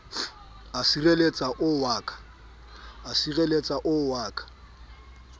o sirelletsa o wa ka